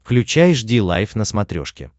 включай жди лайв на смотрешке